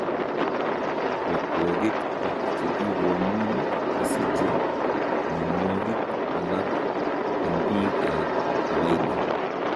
Otwogik ak chekikomuuny kosiche mionwokik alak eng' biik ab kawaida